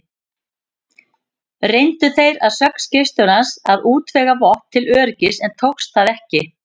Reyndu þeir að sögn skipstjórans að útvega vopn til öryggis, en tókst það ekki.